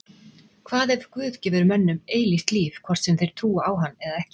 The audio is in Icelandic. Hvað ef Guð gefur mönnum eilíft líf hvort sem þeir trúa á hann eða ekki?